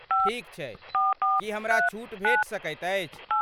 ठीक छै, की हमरा छूट भेटि सकैत अछि?